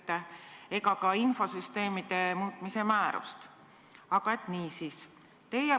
Ma jätan praegu kõrvale töökorralduslikud muudatused, osakonna kolimise Sotsiaalministeeriumist Siseministeeriumi alluvusse ja teie ametisse sisseelamise aja.